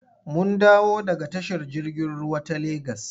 Mun dawo daga tashar jirgin ruwa ta Legas.